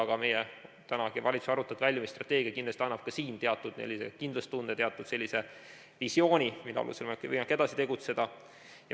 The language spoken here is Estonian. Aga tänagi valitsus arutab väljumisstrateegiat ja kindlasti annab ka siin teatud kindlustunde, teatud visiooni, mille alusel on võimalik edasi tegutseda.